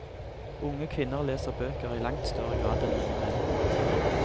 Unge kvinner leser bøker i langt større grad enn unge menn.